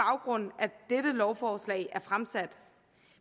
det er lovforslag er fremsat